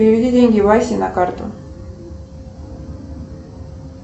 переведи деньги васе на карту